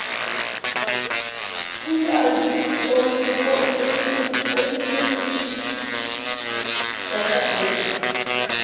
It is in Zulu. kulwazi olukukwi database